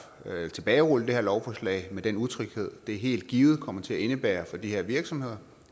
tilbagerulle det her lovforslag med den utryghed det helt givet kommer til at indebære for de her virksomheder